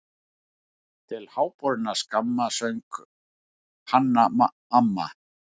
Til háborinnar skammar, söng Hanna-Mamma.